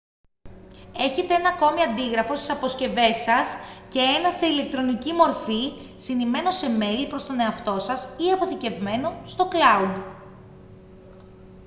έχετε ένα ακόμη αντίγραφο στις αποσκευές σας και ένα σε ηλεκτρονική μορφή συνημμένο σε μέιλ προς τον εαυτό σας ή αποθηκευμένο στο «cloud»